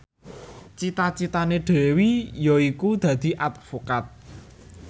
cita citane Dewi yaiku dadi advokat